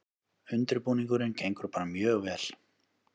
Undirbúningurinn gengur bara mjög vel